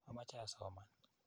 Amoche asoman.